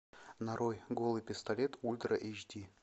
нарой голый пистолет ультра эйч ди